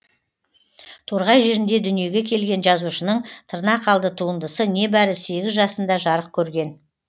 торғай жерінде дүниеге келген жазушының тырнақалды туындысы небәрі сегіз жасында жарық көрген